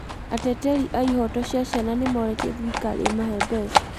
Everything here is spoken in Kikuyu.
Ateteri a ihoto cia ciana nĩmoorĩtie thirikari ĩmahe mbeca.